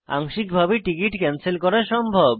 আংশিকভাবে ticket cancel করা সম্ভব